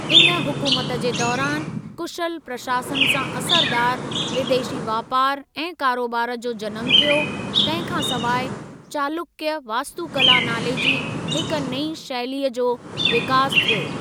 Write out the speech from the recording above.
इन हुकूमत जे दौरानि कुशल प्रशासन सां असरदार, विदेशी वापार ऐं करोबार जो जनमु थियो, तंहिं खां सवाइ 'चालुक्य वास्तुकला' नाले जी हिक नईं शैलीअ जो विकासु थियो।